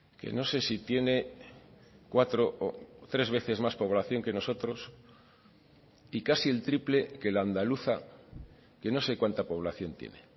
que no sé si tiene cuatro o tres veces más población que nosotros y casi el triple que la andaluza que no se cuanta población tiene